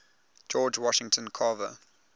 george washington carver